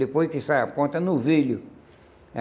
Depois que sai a ponta, é novilho.